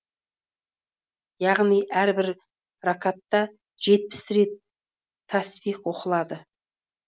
яғни әрбір рәкатта жетпіс бес рет тәсбих оқылады